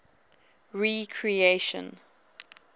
recreation